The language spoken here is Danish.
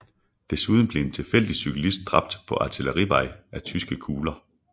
Desuden blev en tilfældig civilist dræbt på Artillerivej af tyske kugler